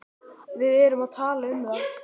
Við erum að tala um það!